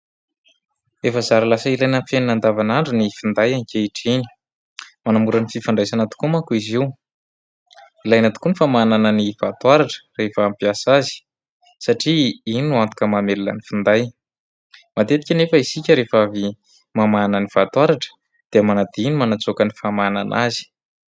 Efa zara lasa ilaina amin'ny fiainana andavanandro ny finday ankehitriny. Manamora ny fifandraisana tokoa manko izy io. Ilaina tokoa ny famahanana ny vatoaratra rehefa hampiasa azy satria iny no antoka mamelona ny finday. Matetika anefa isika rehefa avy mamahana ny vatoaratra dia manadino ny manatsoaka ny famahanana azy.